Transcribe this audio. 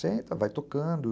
Senta, vai tocando.